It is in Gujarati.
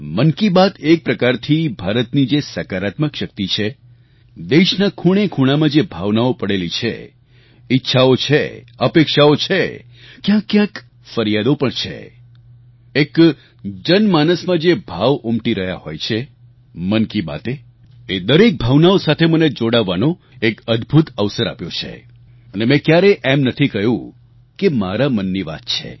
મન કી બાત એક પ્રકારથી ભારતની જે સકારાત્મક શક્તિ છે દેશના ખૂણેખૂણામાં જે ભાવનાઓ પડેલી છે ઈચ્છાઓ છે અપેક્ષાઓ છે ક્યાંકક્યાંક ફરિયાદો પણ છે એક જનમાનસમાં જે ભાવ ઉમટી રહ્યા હોય છે મન કી બાતે એ દરેક ભાવનાઓ સાથે મને જોડાવાનો એક અદભુત અવસર આપ્યો છે અને મેં ક્યારેય એમ નથી કહ્યું કે મારા મનની વાત છે